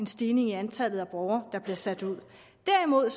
stigning i antallet af borgere der bliver sat ud derimod